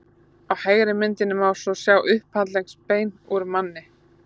á hægri myndinni má svo sjá upphandleggsbein úr manni